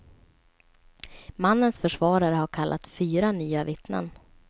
Mannens försvarare har kallat fyra nya vittnen.